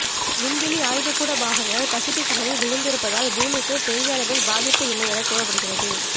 விண்வெளி ஆய்வுக்கூட பாகங்கள் பசிபிக் கடலில் விழுந்திருப்பதால் பூமிக்கு பெரிய அளவில் பாதிப்பு இல்லை என்று கூறப்படுகிறது